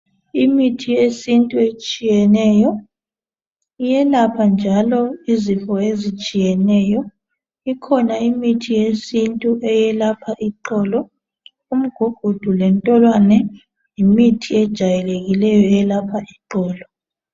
Imithi yesintu etshiyeneyo, iyelapha njalo izifo ezitshiyeneyo, ikhona imithi yesintu eyelapha iqolo, umgugudu lentolwane yimithi ejayelekileyo eyelapha iqolo.